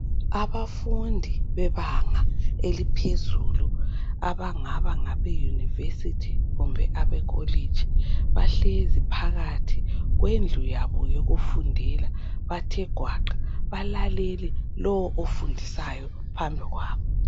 Abafundi bebanga eliphezulu abangaba ngabe yunivesithi kumbe ekholitshi bahlezi phakathi kwendlu yabo yokufundela bathe gwaqa balalele lo ofundisayo phambi kwabo